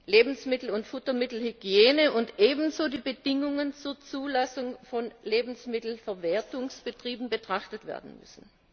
Lebensmittel und Futtermittelhygiene und ebenso die Bedingungen zur Zulassung von Lebensmittelverwertungsbetrieben betrachtet werden müssen.